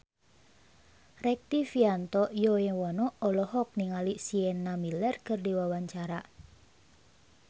Rektivianto Yoewono olohok ningali Sienna Miller keur diwawancara